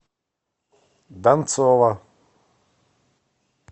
донцова